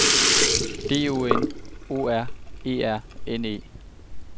D O N O R E R N E